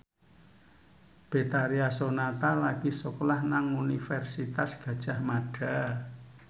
Betharia Sonata lagi sekolah nang Universitas Gadjah Mada